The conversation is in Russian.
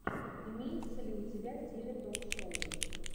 имеется ли у тебя теле ток шоу